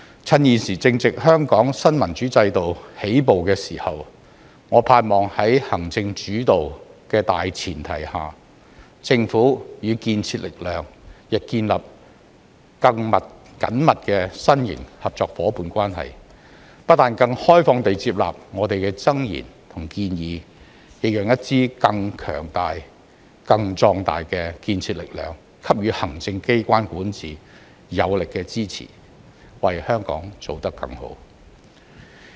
趁現時正值香港新民主制度起步的時候，我盼望在行政主導的大前提下，政府與建設力量亦建立更緊密的新型合作夥伴關係，不但更開放地接納我們的諍言和建議，亦讓一支更強大、更壯大的建設力量給予行政機關管治有力的支持，為香港做得更好。